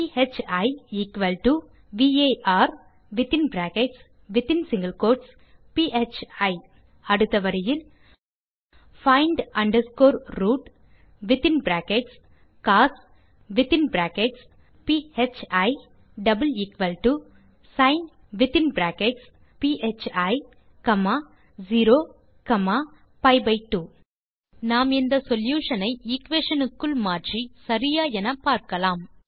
B varபி அடுத்த வரியில் find rootகோஸ் sin0பி2 நாம் இந்த சொல்யூஷன் ஐ எக்வேஷன் க்குள் மாற்றி சரியா என்று பார்க்கலாம்